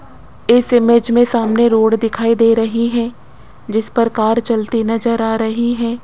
इस इमेज मे सामने रोड दिखाई दे रही है जिस पर कार चलती नजर आ रही है।